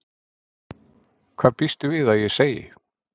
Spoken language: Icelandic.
Hvað býstu við að ég segi?